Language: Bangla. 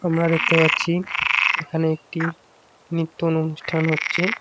আমরা দেখতে পাচ্ছি এখানে একটি নিত্যন অনুষ্ঠান হচ্চে।